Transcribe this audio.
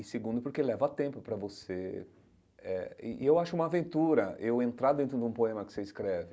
E, segundo, porque leva tempo para você... Eh e eu acho uma aventura eu entrar dentro de um poema que você escreve.